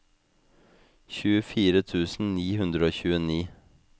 tjuefire tusen ni hundre og tjueni